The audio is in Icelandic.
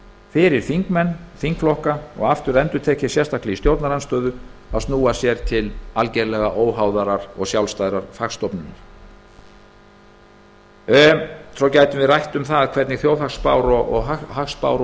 fyrir þingmenn þingflokka og aftur endurtek ég sérstaklega í stjórnarandstöðu að snúa sér til algjörlega óháðrar og sjálfstæðrar hagstofnunar við gætum svo rætt um það hvernig þjóðhagsspár og hagspár